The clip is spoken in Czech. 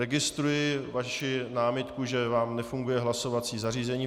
Registruji vaši námitku, že vám nefunguje hlasovací zařízení.